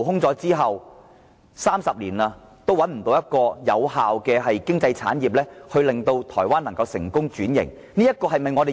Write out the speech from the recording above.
至今已30年，台灣仍然無法找出另一種有效的經濟產業，令其成功轉型。